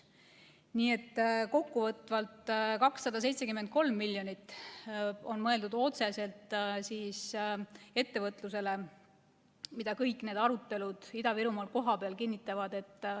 Nii et kokkuvõtvalt, 273 miljonit on mõeldud otseselt ettevõtlusele, mida kõik need arutelud Ida-Virumaal kohapeal kinnitavad.